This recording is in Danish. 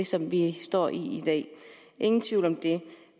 som vi står i i dag ingen tvivl om det